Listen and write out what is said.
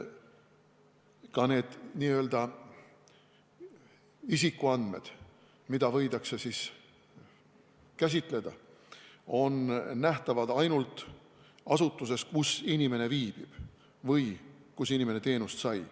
Ka need isikuandmed, mida võidakse käsitleda, on nähtavad ainult asutuses, kus inimene viibib või kus inimene teenust sai.